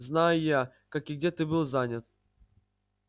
знаю я как и где ты был занят